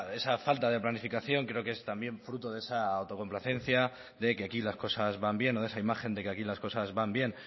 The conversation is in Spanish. esa falta de planificación creo que es también fruto de esa autocomplacencia de que aquí las cosas van bien o de esa imagen de que aquí las cosas van bien